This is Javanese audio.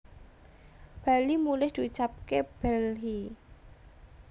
bali mulih diucapke bhelhi